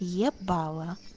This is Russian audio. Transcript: ебала